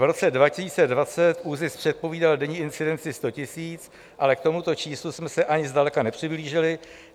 V roce 2020 ÚZIS předpovídal denní incidenci 100 000, ale k tomuto číslu jsme se ani zdaleka nepřiblížili.